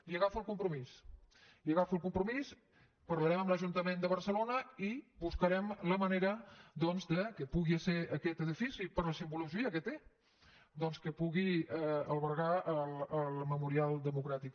li agafo el compromís li agafo el compromís parlarem amb l’ajuntament de barcelona i buscarem la manera doncs que pugui ser aquest edifici per la simbologia que té que pugui albergar el memorial democràtic